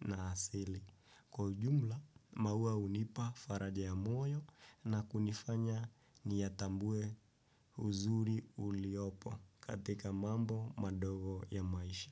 na asili. Kwa ujumla, maua hunipa faraja ya moyo na kunifanya niyatambue uzuri uliopo katika mambo madogo ya maisha.